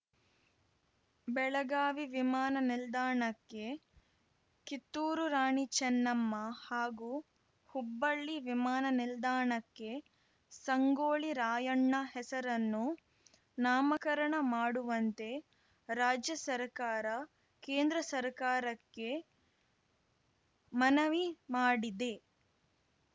ಬೆಳಗಾವಿ ವಿಮಾನ ನಿಲ್ದಾಣಕ್ಕೆ ಕಿತ್ತೂರು ರಾಣಿ ಚೆನ್ನಮ್ಮ ಹಾಗೂ ಹುಬ್ಬಳ್ಳಿ ವಿಮಾನ ನಿಲ್ದಾಣಕ್ಕೆ ಸಂಗೊಳ್ಳಿ ರಾಯಣ್ಣ ಹೆಸರನ್ನು ನಾಮಕರಣ ಮಾಡುವಂತೆ ರಾಜ್ಯ ಸರ್ಕಾರ ಕೇಂದ್ರ ಸರ್ಕಾರಕ್ಕೆ ಮನವಿ ಮಾಡಿದೆ